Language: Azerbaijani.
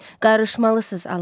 Qarışmalısınız, alın.